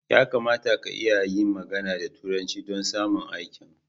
Ya kamata ka iya yin magana da turanci don samun aikin